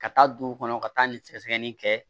Ka taa dugu kɔnɔ ka taa nin sɛgɛsɛgɛli kɛ